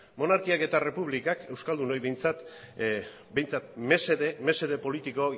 monarkiak eta errepublikak euskaldunoi behintzat mesede politiko